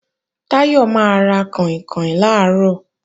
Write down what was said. Táyọ̀ máa ra kàìnkàìn làárọ̀